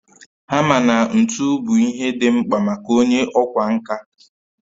Hama na ntu bụ ihe dị mkpa maka onye ọkwá nkà